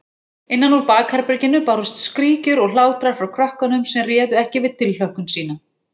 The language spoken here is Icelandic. Innan úr bakherberginu bárust skríkjur og hlátrar frá krökkunum sem réðu ekki við tilhlökkun sína.